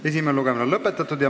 Esimene lugemine on lõpetatud.